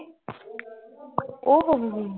ਉਹ ਹੋ ਹੋ